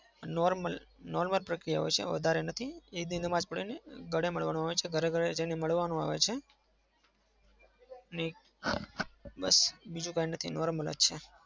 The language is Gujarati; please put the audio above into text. normal normal જ પ્રકિયા હોય છે વધારે નથી. ઈદ નમાજ પઢવાની ગળે મળવાનું. ઘરે-ઘરે જઈને મળવાનું આવે છે અને બીજું કઈ નથી બસ normal જ છે.